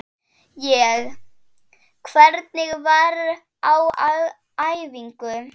Ég: Hvernig var á æfingu?